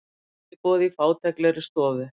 Kaffiboð í fátæklegri stofu.